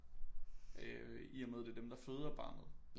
Øh i og med at det er dem der føder barnet